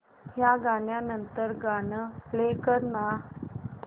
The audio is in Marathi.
या गाण्या नंतरचं गाणं प्ले कर ना